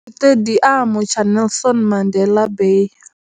Sitediamu tsha Nelson Mandela Bay.